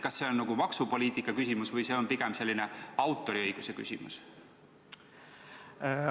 Kas see on maksupoliitika küsimus või see on pigem autoriõiguse küsimus?